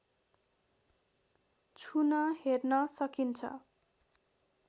छुन हेर्न सकिन्छ